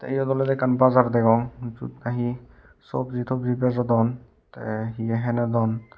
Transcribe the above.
iyen olodey ekkan bazar degong jiyot nahi sobji tobji bejodon te hiye hinodon.